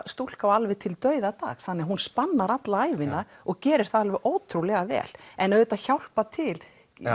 stúlka og alveg til dauðadags þannig hún spannar alla ævina og gerir það alveg ótrúlega vel en auðvitað hjálpa til